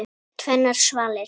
Tvennar svalir.